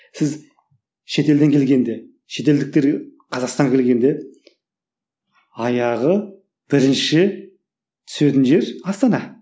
сіз шетелден келгенде шетелдіктер қазақстанға келгенде аяғы бірінші түсетін жер астана